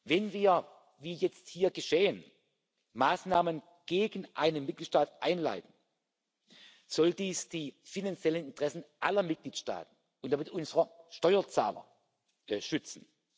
Wenn wir wie jetzt hier geschehen Maßnahmen gegen einen Mitgliedstaat einleiten, soll dies die finanziellen Interessen aller Mitgliedstaaten und damit unserer Steuerzahler schützen.